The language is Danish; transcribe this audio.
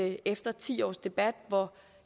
efter ti års debat hvor